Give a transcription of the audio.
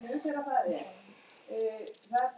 Hálfdan, spilaðu tónlist.